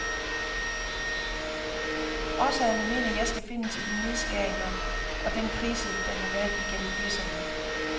Årsagerne mener jeg skal findes i de nedskæringer og den krise der har været igennem firserne.